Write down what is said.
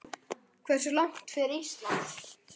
Hversu langt fer Ísland?